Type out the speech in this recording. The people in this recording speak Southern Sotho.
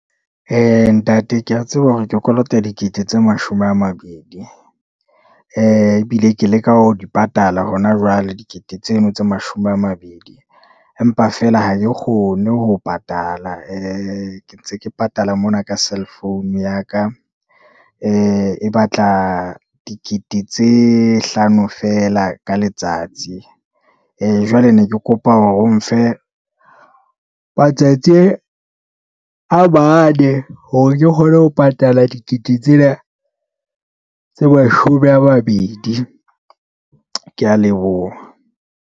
Ntate ke ya tseba hore ke kolota dikete tse mashome a mabedi, ke leka ho di patala hona jwale, dikete tseno tse mashome a mabedi. Empa feela ha ke kgone ho patala, ke ntse ke patala mona ka cell phone ya ka. e batla dikete tse hlano fela ka letsatsi, jwale ne ke kopa hore o mfe matsatsi a mane, hore ke kgone ho patala dikete tsena tse mashome a mabedi. Ke ya leboha.